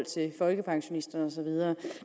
til folkepensionisterne og så videre